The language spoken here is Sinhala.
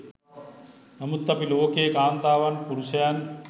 නමුත් අපි ලෝකයේ කාන්තාවන් පුරුෂයන්